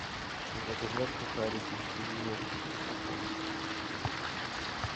заказать сухарики кириешки с чесноком